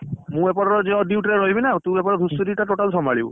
ମୁଁ ଏପଟର ଅଧିକ duty ରେ ରହିବି ନା ତୁ ସେପଟେ ଘୁଷୁରିଟା total ସମ୍ଭାଳିବୁ।